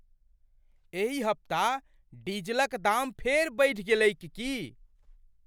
एहि हप्ता डीजलक दाम फेर बढ़ि गेलैक की?